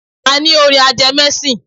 A ní orin ajẹmẹ́sìn